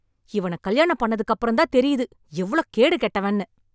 இவன கல்யாணம் பண்ணதுகப்பிரம் தான் தெரியுது எவ்ளோ கேடுகெட்டவான்னு